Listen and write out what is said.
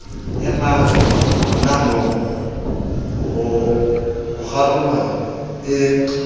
emang honamoo ho kgaruma e